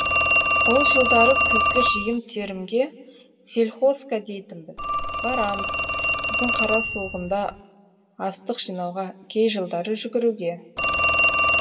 ол жылдары күзгі жиын терімге сельхозка дейтінбіз барамыз күздің қара суығында астық жинауға кей жылдары жүгіруге